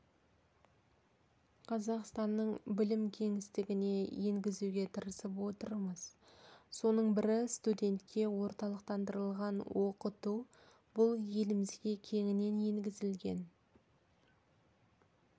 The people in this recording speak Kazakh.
қазақстанның білім кеңістігіне енгізуге тырысып отырмыз соның бірі студентке орталықтандырылған оқыту бұл елімізге кеңінен енгізілген